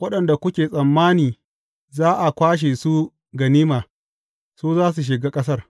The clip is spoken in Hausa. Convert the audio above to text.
waɗanda kuke tsammani za a kwashe su ganima, su za su shiga ƙasar.